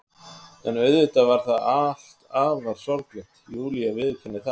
En auðvitað var það allt afar sorglegt, Júlía viðurkennir það.